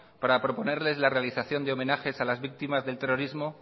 para proponerles la realización de homenajes a las víctimas del terrorismo